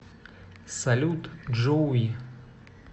салют джоуи